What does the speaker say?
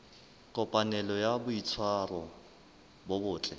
kopanelo ya boitshwaro bo botle